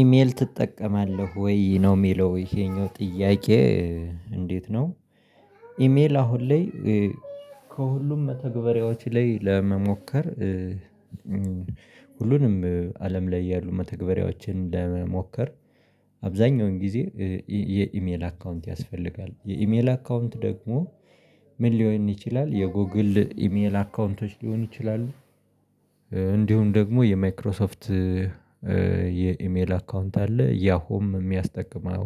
ኢሜል ትጠቀማለህ ወይ? ነው የሚለው ይሄኛው ጥያቄ እንዴት ነው ኢሜል አሁን ላይ ከሁሉም መተግበሪያዎች ላይ ለመሞከር ሁሉንም አለም ላይ ያሉ መተግበሪያዎችን ለመሞከር አብዛኛውን ጊዜ የኢሜይል አካውንት ያስፈልጋል። የኢሜይል አካውንት ደግሞ ምን ልሆን ይችላል የጎግል ኢሜይል አካውንቶች ልሆኑ ይችላሉ። እንዲሁም ደግሞ የማይክሮሶፍት የኢሜይል አካውንት አለ ያሆም የሚያስጠቅመው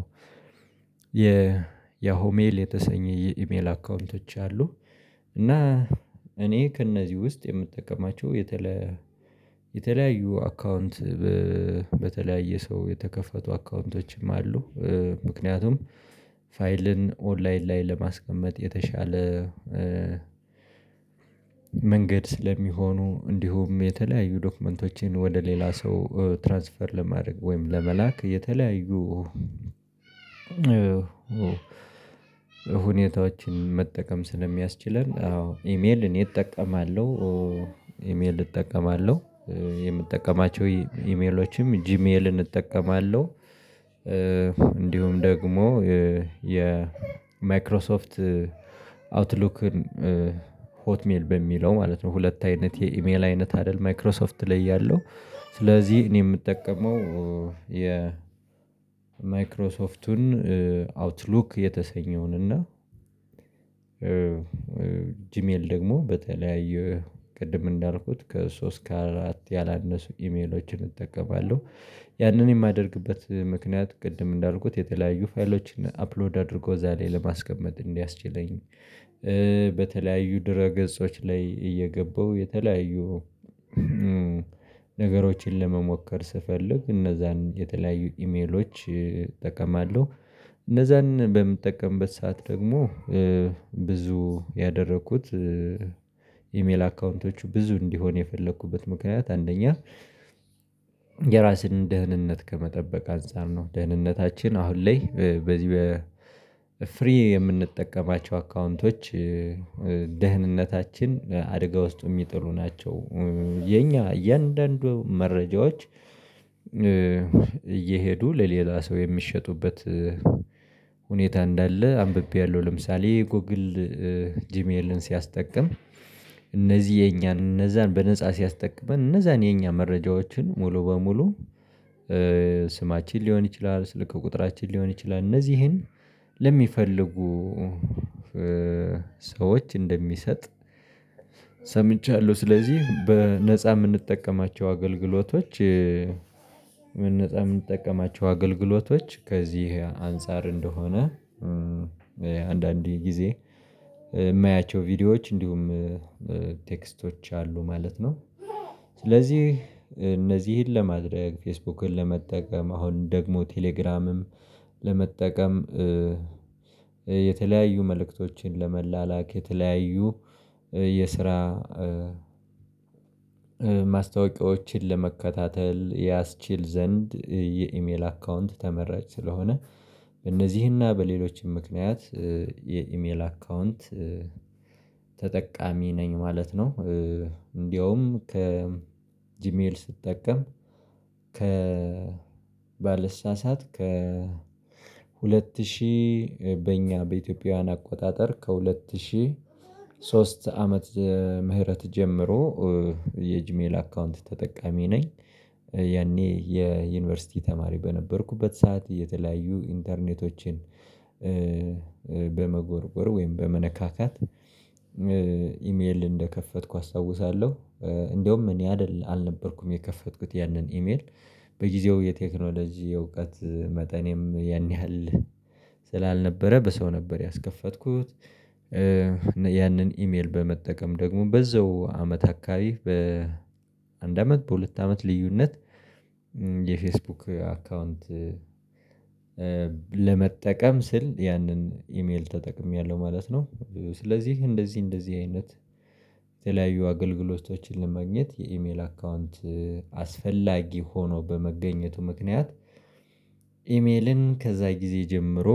የ ያሆሜይል የተሰኘ የኢሜል አካውንቶች አሉ። እና እኔ ከነዚህ ውስጥ የምጠቀማቸው የተለያየ የተለያዩ አካውንት በተለያየ ሰው የተከፈቱ አካውንቶችም አሉ። ምክንያቱም ፋይልን ኦንላይን ላይ ለማስቀመጥ የተሻለ መንገድ ስለሚሆኑ እንዲሁም የተለያዩ ዶክመንቶችን ወደ ሌላ ሰው ትራንስፈር ለማድረግ ወይም ለመላክ የተለያዩ ሁኔታዎችን መጠቀም ስለሚያስችለን አዎ ኢሜይል እኔ እጠቀማለሁ፣ ኢሜል እጠቀማለሁ። የምጠቀማቸው ኢሜይሎችም ጂሜልን እጠቀማለሁ፤ እንዲሁም ደግሞ የ የ ማይክሮሶፍት አውትሉክን ሆትሜል በሚለው ማለት ነው ሁለት አይነት የኢሜል አይነት አይደል ማይክሮሶፍት ላይ ያለው ስለዚህ እኔ የምጠቀመው የ ማይክሮሶፍቱን አውትሉክ የተሰኘውን እና ጂሜል ደግሞ በተለያዩ ቅድም እንዳልኩት ከሶስት ከአራት ያላነሱ ኢሜሎችን እጠቀማለሁ፣ ያንን የማደርግበት ምክንያት ቅድም እንዳልኩት የተለያዩ ፋይሎችን አፕሎድ አድርጎ እዛ ላይ ለማስቀመጥ እንዲያስችለኝ በተለያዩ ድረ ገጾች ላይ እየገበው የተለያዩ ነገሮችን ለመሞከር ስፈልግ እነዛን የተለያዩ ኢሜይሎች እጠቀማለሁ። እነዛን በምጠቀምበት ሰዓት ደግሞ ብዙ ያደረኩት ኢሜይል አካውንቶች ብዙ እንድሆኑ የፈለኩበት ምክንያት አንደኛ የራስህን ደህንነት ከመጠበቅ አንፃር ነው። ደህንነታችን አሁን ላይ በዚህ በፍሪ የምንጠቀማቸው አካውንቶች ደህንነታችን አደጋ ውስጥ የሚጥሉ ናቸው። የኛ እያንዳንዱ መረጃዎች እየሄዱ ለሌላ ሰው የሚሸጡበት ሁኔታ እንዳለ አንብቤያለሁ፣ ለምሳሌ ጎግል ጂሚኤልን ሲያስጠቅም እነዚህ የኛን እነዛን በነፃ ሲያስጠቅመን እነዛን የኛ መረጃዎችን ሙሉ በሙሉ ስማችን ሊሆን ይችላል፣ ስልክ ቁጥራችን ሊሆን ይችላል እነዚህን ለሚፈልጉ ሰዎች እንደሚሰጥ ሰምቻለሁ። ስለዚህ በነፃ የምንጠቀማቸው አገልግሎቶች በነጻ የምንጠቀማቸው አገልግሎቶች ከዚህ አንፃር እንደሆነ አንዳንዴ ጊዜ የማያቸው ቪዲዮዎች እንዲሁም ቴክስቶች አሉ ማለት ነው። ስለዚህ እነዚህን ለማድረግ ፌስቡክን ለመጠቀም አሁን ደግሞ ቴሌግራምም ለመጠቀም የተለያዩ መልእክቶችን ለመላለክ የተለያዩ የስራ ማስታወቂዎችን ለመከታተል ያስችል ዘንድ የኢሜል አካውንት ተመራጭ ስለሆነ በእነዚህና በሌሎችም ምክንያት የኢሜል አካውንት ተጠቃሚ ነኝ ማለት ነው። እንዳውም ከ ጂሜል ስትጠቀም ከ ባልሳሳት ከ ሁለት ሺህ በእኛ በኢትዮጵያውያን አቆጣጠር ከሁለት ሺህ ሶስት ዓመተ ምህረት ጀምሮ የጅሜል አካውንት ተጠቃሚ ነኝ። ያኔ የዩኒቨርሲቲ ተማሪ በነበርኩበት ሰዓት የተለያዩ ኢንተርኔቶችን በመጎርጎር ወይም በመነካካት ኢሜይል እንደከፈትኩ አስተውሳለሁ። እንደሁም እኔ አይደለ አልነበርኩም የከፈትኩት ያንን ጂሜይል፣ በጊዜው የቴክኖሎጂ የእውቀት መጠኔም ያን ያህል ስላልነበረ በሰው ነበር ያስከፈትኩት፣ ያንን ኢሜይል በመጠቀም ደግሞ በዛው አመት አካባቢ በአንድ አመት በሁለት አመት ልዩነት የፌስቡክ አካውንት ለመጠቀም ስል ያንን ኢሜል ተጠቅሜያለሁ ማለት ነው። ስለዚህ እንደዚህ እንደዚህ አይነት የተለያዩ አገልግሎቶችን ለማግኘት ኢሜይል አካውንት አስፈላጊ ሆኖ በመገኘቱ ምክንያት ኢሜልን ከዛ ጊዜ ጀምሮ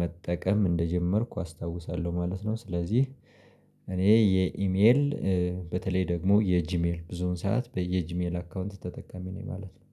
መጠቀም እንደጀመርኩ አስታውሳለሁ ማለት ነው። ስለዚህ እኔ የኢሜል በተለይ ደግሞ የጂሜል ብዙውን ሰዓት በየጂሜል አካውንት ተጠቃሚ ነኝ ማለት ነው።